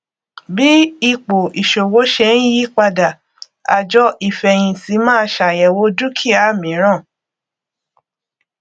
bí ipò ìṣòwò ṣe ń yí padà àjọ ìfẹyìntì máa ṣàyẹwò dúkìá mìíràn